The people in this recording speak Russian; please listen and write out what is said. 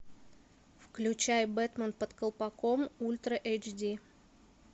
включай бэтмен под колпаком ультра эйч ди